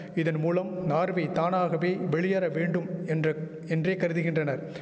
இதன் மூலம் நார்வே தானாகவே வெளியேற வேண்டும் என்ற என்றே கருதுகின்றனர்